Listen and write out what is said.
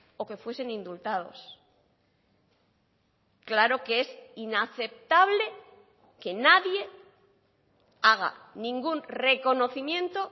o que fuesen indultados claro que es inaceptable que nadie haga ningún reconocimiento